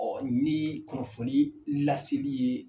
Ɔ ni kunnafoni laseli ye